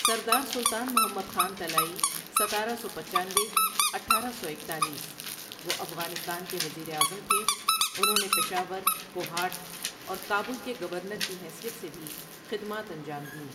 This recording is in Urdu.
سردار سلطان محمد خان طلائی ستارہ سو پچانوے اٹھارہ سو اکتالیس وہ افغانستان کے وزیر اعظم تھے انہوں نے پشاور ، کوہاٹ اور کابل کے گورنر کی حیثیت سے بھی خدمات انجام دیں ۔